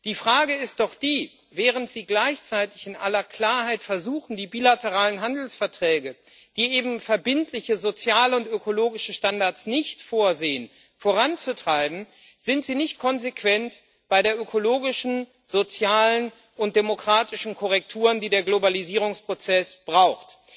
Die Frage ist doch die Während Sie gleichzeitig in aller Klarheit versuchen, die bilateralen Handelsverträge voranzutreiben, die eben verbindliche, soziale und ökologische Standards nicht vorsehen, sind Sie nicht konsequent bei den ökologischen, sozialen und demokratischen Korrekturen, die der Globalisierungsprozess braucht.